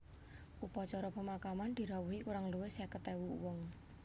Upacara pemakaman dirawuhi kurang luwih seket ewu wong